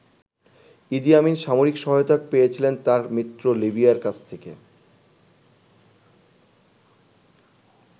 ইদি Amin সামরিক সহায়তা পেয়েছিলেন তার মিত্র লিবিয়ার কাছ থেকে।